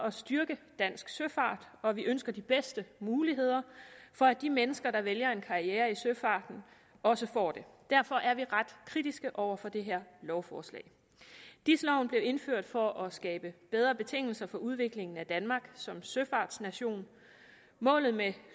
at styrke dansk søfart og vi ønsker de bedste muligheder for at de mennesker der vælger en karriere i søfarten også får det derfor er vi ret kritiske over for det her lovforslag dis loven blev indført for at skabe bedre betingelser for udviklingen af danmark som søfartsnation målet med